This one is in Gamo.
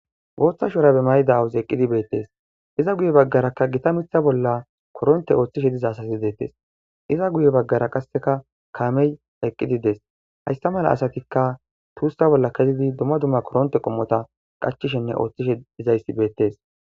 Botha shurabe mayda awazi eqidi betes iza guye bagaraka gita mitha bola koronte othishe diza asati detes iza guye bagara qaseka kamey eqidi des haysa mala asatika kunta bola kezidi duma duma kurunte qomoza qachishene othishe dizaysi betes.